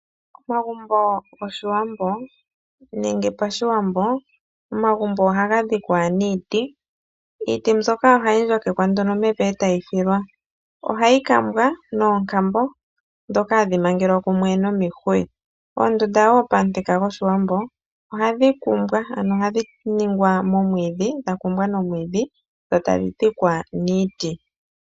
Omagumbo goshiwambo, nenge pashiwambo, omagumbo ohaga dhikwa niiti. Iiti mbyoka ohayi ndjokekwa nduno mevi e tayi filwa. Ohayi kambwa noonkambo, ndhoka hadhi mangelwa kumwe nomihuya. Oondunda wo pamuthika gwoshiwambo, ohadhi kumbwa ano dha ningwa nomwiidhi, dho tadhi dhikwa niiti.